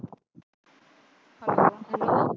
hello